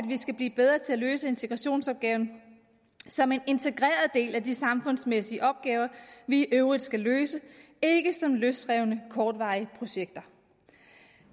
vi skal blive bedre til at løse integrationsopgaven som en integreret del af de samfundsmæssige opgaver vi i øvrigt skal løse ikke som løsrevne kortvarige projekter